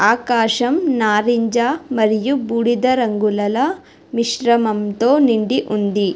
ఆకాశం నారింజ మరియు బూడిద రంగులలో మిశ్రమంతో నిండి ఉంది.